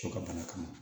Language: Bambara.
To ka bana kama